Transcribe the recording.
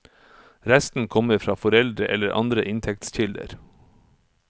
Resten kommer fra foreldre eller andre inntektskilder.